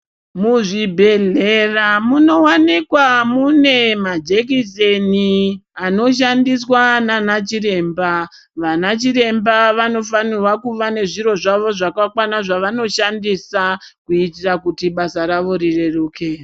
Muzvibhedhlera munowanikwa mune majekiseni anoshandiswa nanachiremba. Vana chiremba vanofanirwa kuva nezviro zvawo zvakakwana zvavanoshandisa kuitira kuti basa rawo rireruke.